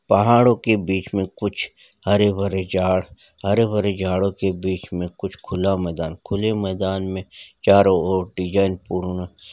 पहाड़ो के बीच मे कुछ हरे-भरे झाड़ हरे-भरे झाड़ों के बीच मे कुछ खुला मैदान मे चारो और डीजाइन पूर्ण--